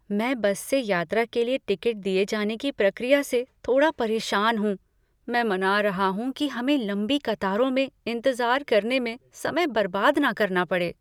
मैं बस से यात्रा के लिए टिकट दिए जाने की प्रक्रिया से थोड़ा परेशान हूँ, मैं मना रहा हूँ कि हमें लंबी कतारों में इंतजार करने में समय बर्बाद न करना पड़े।